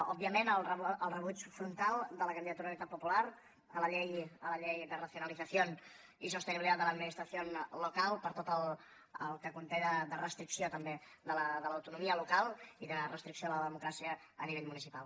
òbviament el rebuig frontal de la candidatura d’unitat popular a la llei de racionalización y sostenibilidad de la administración local per tot el que conté de restricció també de l’autonomia local i de restricció de la democràcia a nivell municipal